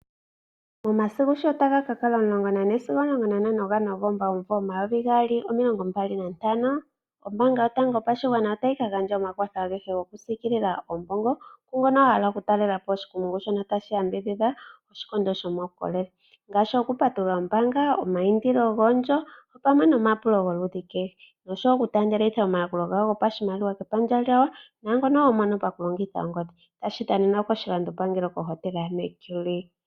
Momasiku shotaga kakala 14 sigo 15 gaNovomba 2025 ombaanga yotango yopakwashigwana otayika gandja omakwatho agehe gokusiikilila oombongo, kwaamboka yahala okutalela po oshikondo shika tashi yambidhidha oshikondo shomawukolele ngaashi okupatulula ombaanga opamwe nomapulo goludhi kehe gokutaandelitha oshimaliwa sholudhi kehe kepandja lyawo naangono woo nangono homono pokulongitha ongodhi tashikadhanenwa pohotela yamee Julia.